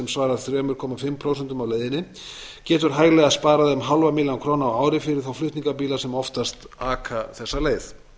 svarar þrjú og hálft prósent af leiðinni getur hæglega sparað um hálfa milljón króna á ári fyrir þá flutningabíla sem oftast aka þessa leið